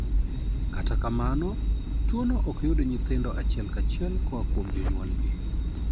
Kata kamano, tuwono ok yud nyithindo achiel kachiel koa kuom jonyuolgi.